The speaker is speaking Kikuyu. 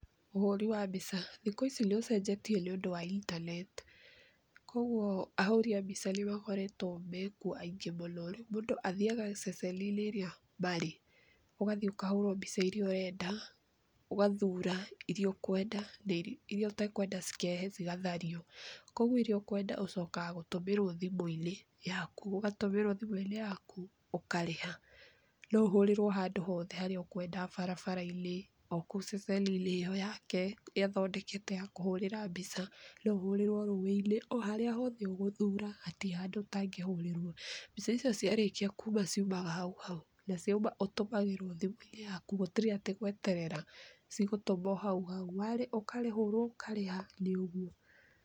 Ũhuri wa mbica; thikũ ici nĩgũcenjetie nĩũndũ wa internet kwoguo ahuri a mbica nĩmakoretwe mekuo aingĩ mũno kwoguo mũndũ athiaga ceceni ĩrĩa arĩ ũgathii ũkahũrwo mbica irĩa ũrenda ũgathura iria ũkwenda na iria ũtakwenda ikeherwo cigathario. Kwoguo iria ũkwenda icokaga gũtũmĩrwa thimũinĩ yaku ,ũgatũmĩrwa thimũinĩ yaku, ũkarĩha ,noũhũrĩrwe handũ hothe harĩa ũkwenda, barabarainĩ,o kũu ceceni ĩo yake athondekete ya kũhũrĩra mbica ,nũuhurĩrwe rũĩinĩ, oharĩa hothe ũgũthura hatirĩ handũ ũtangĩhũrĩrwa. Mbica icio ciarĩkia kuuma ciumaga hau hau na ciauma ũtũmagĩrwa thimũinĩ yaku gũtirĩ atĩ gweterera cigũtũmwa hau hau ũkaheo ũkarĩha nĩ ũguo.